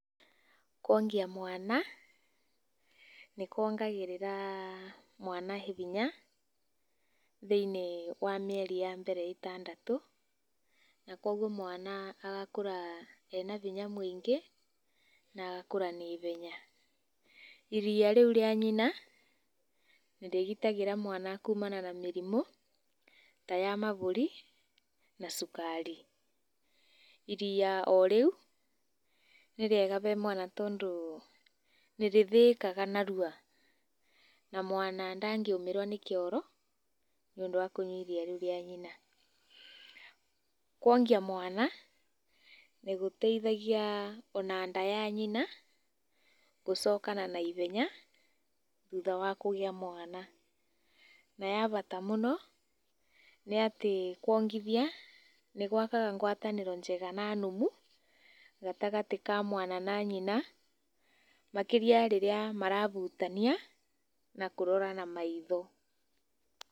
Kuongia mwana nĩkuongagĩrĩra mwana hinya thĩ-inĩ wa mĩeri ya mbere ĩtandatũ, na koguo mwana agakũra ĩna hinya mũingĩ na agakũra naihenya. Iriya rĩu rĩa nyina nĩrĩgitagĩra mwana kumana na mĩrimũ ta ya mahũri na cukari. Iriya o rĩu nĩrĩega harĩ mwana tondũ nĩrĩthĩĩkaga narua na mwana ndangĩũmĩrwo nĩ kĩoro nĩũndũ wa kũnyua iria rĩu ria nyina. Kuongia mwana nĩgũteithagia ona nda ya nyina gũcokana na ihenya ona thutha wa kũgĩa mwana. Na ya bata mũno nĩ atĩ kuongithia nĩgwakaga ngwatanĩro njega na nũmu gatagatĩ ka mwana na nyina makĩria rĩrĩa marahutania na kũrorana na maitho.